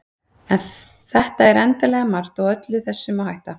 en þetta er endanlega margt og öllu þessu má hætta